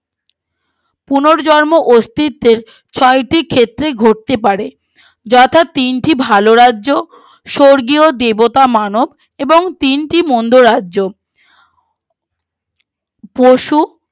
পুনর্জন্ম অস্তিত্বের ছয় টি ক্ষেত্রেই ঘটতে পারে যথা তিনটি ভালো রাজ্য স্বর্গীয় দেবতা মানব এবং তিনটি মন্ড রাজ্য